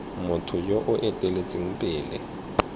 motho yo o eteletseng pele